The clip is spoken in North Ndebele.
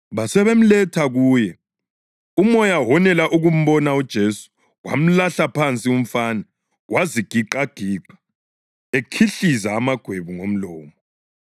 Basebemletha kuye. Umoya wonela ukumbona uJesu wamlahla phansi umfana wazigiqagiqa ekhihliza amagwebu ngomlomo.